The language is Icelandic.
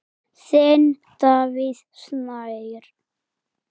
Þinn, Davíð Snær.